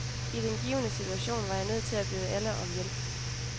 I den givne situation var jeg nødt til at bede alle om hjælp.